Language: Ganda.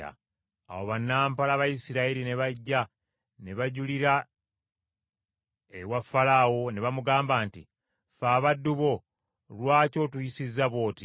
Awo bannampala Abayisirayiri ne bajja ne bajulira ewa Falaawo, ne bamugamba nti, “Ffe abaddu bo, lwaki otuyisizza bw’oti?